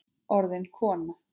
Orðin kona.